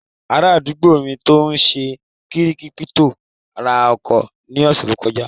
Ará àdúgbò mi tó n ṣe kírípítò ra ọkọ̀ ní ọ̀sẹ̀ tó kọjá